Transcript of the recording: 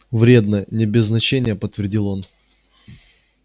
вредно не без значения подтвердил он